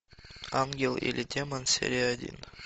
ангел или демон серия один